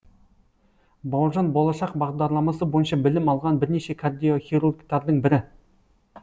бауыржан болашақ бағдарламасы бойынша білім алған бірнеше кардиохирургтардың бірі